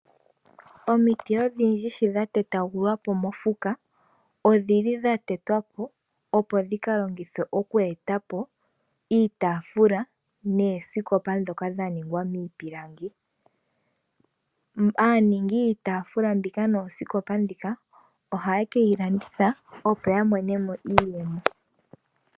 Omiti odhindji sho dha tetagulwapo mofuka odhi li dha tetwapo opo dhikalongithwe okweetapo iitafula noosikopa ndhoka dha ningwa miipilangi. Aaningi yiitafula mbika noosikopa ndhika oha ye kiilanditha opo ya monemo iiyemo.